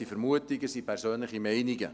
Es sind Vermutungen, persönliche Meinungen.